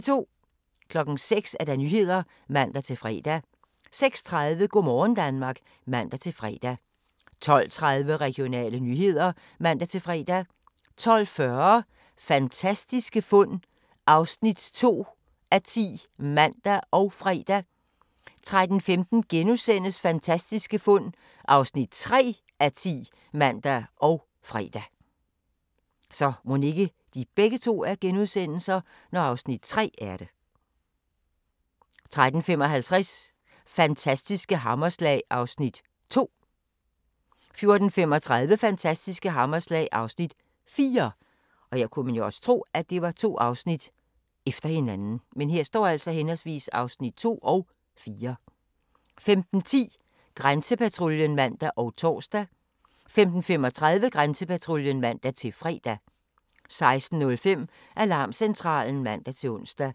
06:00: Nyhederne (man-fre) 06:30: Go' morgen Danmark (man-fre) 12:30: Regionale nyheder (man-fre) 12:40: Fantastiske fund (2:10)(man og fre) 13:15: Fantastiske fund (3:10)*(man og fre) 13:55: Fantastiske hammerslag (Afs. 2) 14:35: Fantastiske hammerslag (Afs. 4) 15:10: Grænsepatruljen (man og tor) 15:35: Grænsepatruljen (man-fre) 16:05: Alarmcentralen (man-ons)